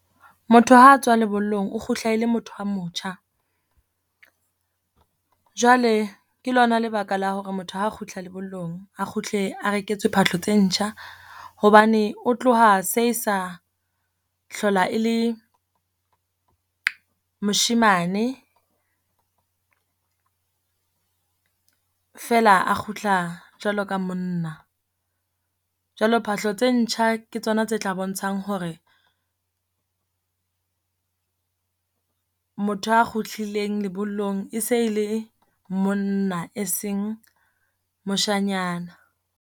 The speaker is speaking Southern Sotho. Motho ha a tswa lebollong o kgutla e le motho a motjha. Jwale ke lona lebaka la hore motho ha a kgutla lebollong, a kgutle a reketswe phahlo tse ntjha, hobane o tloha se e sa hlola e le moshemane feela a kgutla jwalo ka monna. Jwalo phahlo tse ntjha ke tsona tse tla bontshang hore motho a kgutlileng lebollong e se le monna, e seng moshanyana.